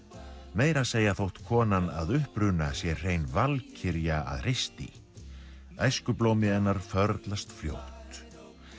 meira að segja þótt konan að uppruna sé hrein valkyrja að hreysti hennar förlast fljótt